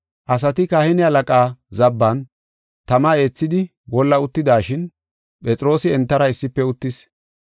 Asati kahine halaqaa zabban tama eethidi wolla uttidashin Phexroosi entara issife uttis.